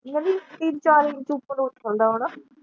ਤਿੰਨ ਚਾਰ ਦਿਨ ਤੂੰ ਉਪਰੋਂ ਉਛਲਦਾ ਆਉਣਾ।